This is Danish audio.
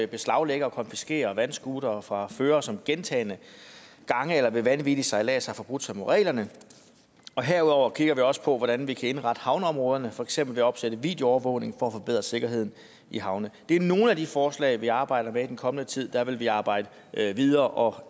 beslaglægge og konfiskere vandscootere fra førere som gentagne gange eller ved vanvittig sejlads har forbrudt sig mod reglerne og herudover kigger vi også på hvordan vi kan indrette havneområderne for eksempel ved at opsætte videoovervågning for at forbedre sikkerheden i havne det er nogle af de forslag vi arbejder med i den kommende tid vil vi arbejde videre og